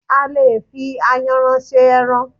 A lè fi Ayanran se ẹran.